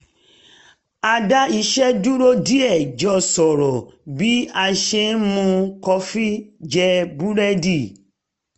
a dá iṣẹ́ dúró díẹ̀ jọ sọ̀rọ̀ bí a ṣe ń mu kọfí jẹ búrẹ́dì